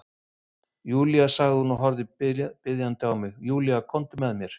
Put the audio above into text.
Júlía sagði hún og horfði biðjandi á mig, Júlía komdu með mér.